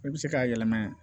I bɛ se k'a yɛlɛma